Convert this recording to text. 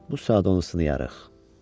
Bu saat onu sınayarıq.